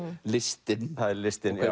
listin það er listin